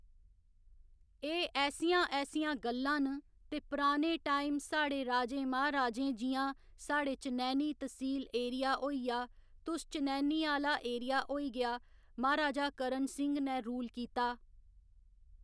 एह् ऐसियां ऐसियां गल्लां न ते पराने टाइम साढ़े राजें महाराजें जि'यां साढ़े चनैह्‌नी तसील एरिया होइया तुस चनैह्‌नी आह्‌ला एरिया होई गेआ महाराजा करण सिंह ने रूल कीता